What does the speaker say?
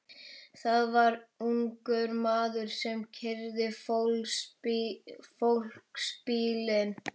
Það var ungur maður sem keyrði fólksbílinn.